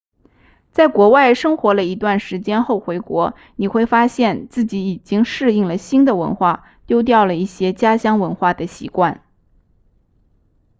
在国外生活了一段时间后回国你会发现自己已经适应了新的文化丢掉了一些家乡文化的习惯